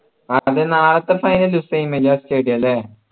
അതെ നാളത്തെ final stadium അല്ലെ